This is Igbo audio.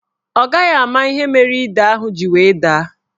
Ọ gaghị ama ihe mere ide ahụ ji wee daa.